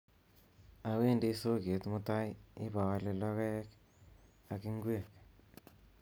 Awendi soget mutai ipaale logoek ak ingwek